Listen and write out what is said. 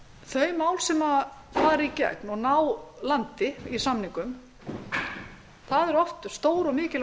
þau mál sem fara í gegn og ná landi í samningum eru oft stór og mikilvæg